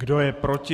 Kdo je proti?